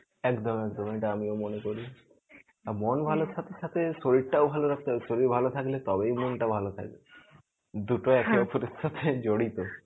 একদম একদম এটা আমিও মনে করি. আর মন ভালো থাকার সাথে সাথে শরীরটাও ভালো রাখতে হবে শরীর ভালো থাকলে তবেই মনটা ভালো থাকবে. দুটোই একে ওপারের সাথে জড়িত.